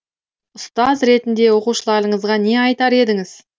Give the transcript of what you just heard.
ұстаз ретінде оқушыларыңызға не айтар едіңіз